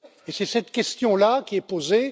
C'est cette question là qui est posée.